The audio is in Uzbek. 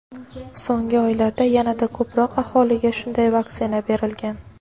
So‘nggi oylarda yanada ko‘proq aholiga shunday vaksina berilgan.